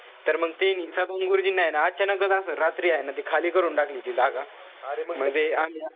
तर मंग त्यांनी त्या दोन गुरुजींना ए ना अचानक असं रात्री ए ते हाये ना खाली करून टाकली ती जागा. मंग ते आम्ही,